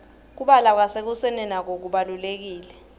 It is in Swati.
kubla kwasekuseni nako kubalurekile